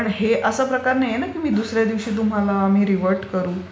कारण हे असा प्रकार नाहीये ना की दुसर् या दिवशी आम्ही तुम्हाला रिव्हर्ट करू.